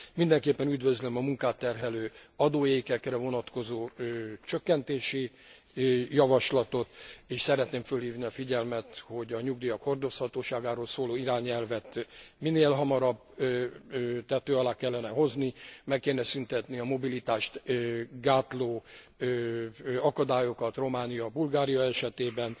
Mindenképpen üdvözlöm a munkát terhelő adóékekre vonatkozó csökkentési javaslatot, és szeretném fölhívni a figyelmet, hogy a nyugdíjak hordozhatóságáról szóló irányelvet minél hamarabb tető alá kellene hozni, meg kéne szüntetni a mobilitást gátló akadályokat Románia és Bulgária esetében,